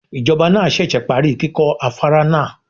Ìjọba náà ṣẹ̀ṣẹ̀ parí kíkọ́ afárá náà.